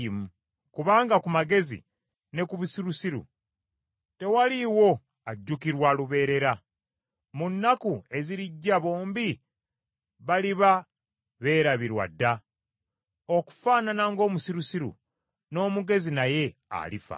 Kubanga ku mugezi ne ku musirusiru tewaliwo ajjukirwa lubeerera; mu nnaku ezirijja bombi baliba beerabirwa dda. Okufaanana ng’omusirusiru n’omugezi naye alifa.